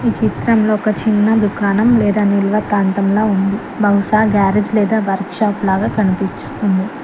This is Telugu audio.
చిత్రంలో ఒక చిన్న దుకాణం లేదా నిల్వ ప్రాంతంలో ఉంది బహుశా గ్యారేజ్ లేదా వర్క్ షాప్ లాగా కనిపిస్తుంది.